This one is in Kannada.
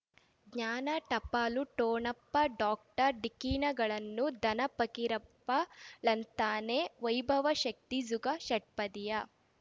ಜ್ಞಾನ ಟಪಾಲು ಠೊಣಪ ಡಾಕ್ಟರ್ ಢಿಕ್ಕಿ ಣಗಳನು ಧನ ಫಕೀರಪ್ಪ ಳಂತಾನೆ ವೈಭವ್ ಶಕ್ತಿ ಝುಗಾ ಷಟ್ಪದಿಯ